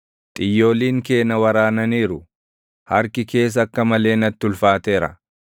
Xiyyooliin kee na waraananiiru; harki kees akka malee natti ulfaateera.